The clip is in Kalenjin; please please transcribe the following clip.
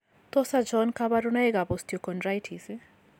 Tos achon kabarunaik ab osteochondritis ?